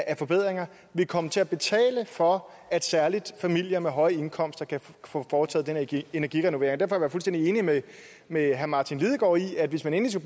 af forbedringer vil komme til at betale for at særlig familier med høje indkomster kan få foretaget energirenovering derfor er jeg fuldstændig enig med herre martin lidegaard i at hvis man endelig